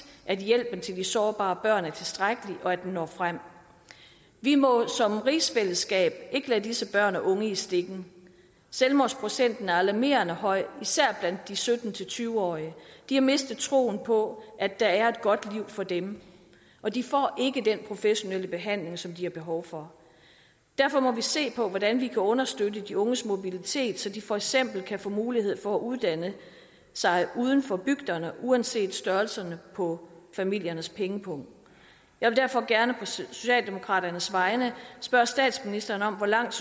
at hjælpen til de sårbare børn er tilstrækkelig og at den når frem vi må som rigsfællesskab ikke lade disse børn og unge i stikken selvmordsprocenten er alarmerende høj især blandt de sytten til tyve årige de har mistet troen på at der er et godt liv for dem og de får ikke den professionelle behandling som de har behov for derfor må vi se på hvordan vi kan understøtte de unges mobilitet så de for eksempel kan få mulighed for at uddanne sig uden for bygderne uanset størrelsen på familiernes pengepung jeg vil derfor gerne på socialdemokraternes vegne spørge statsministeren om hvor langt